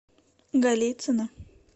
голицыно